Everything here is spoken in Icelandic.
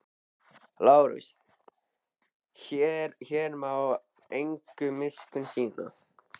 LÁRUS: Hér má enga miskunn sýna.